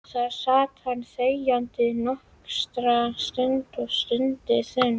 Þar sat hann þegjandi nokkra stund og stundi þungan.